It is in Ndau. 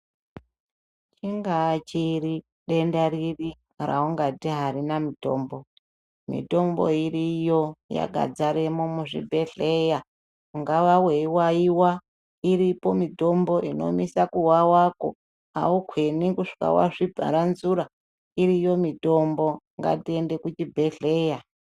Chingaa chiri, denda riri, raungati arina mutombo. Mitombo iriyo yakadzaremwo muzvibhedhleya. Ungaa weiwawiwa, mitombo inomisa kuwawako, aukwenyi kusvika wazviparanzura. Iriyo mitombo. Ngatiende kuchibhedhleya